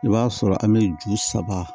I b'a sɔrɔ an bɛ ju saba